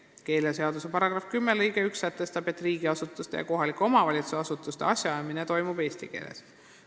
Keeleseaduse § 10 lõige 1 sätestab, et riigiasutuse ja kohaliku omavalitsuse asutuse asjaajamine toimub eesti keeles.